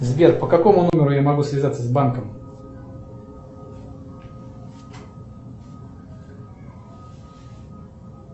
сбер по какому номеру я могу связаться с банком